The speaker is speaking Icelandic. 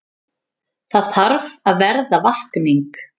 Þarf að verða vakning